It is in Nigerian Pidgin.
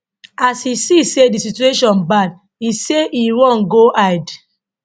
as e see say di situation bad e say e run go hide